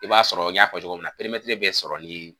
I b'a sɔrɔ n y'a fɔ cogo min na perimɛtiri be sɔrɔ nin